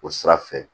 O sira fɛ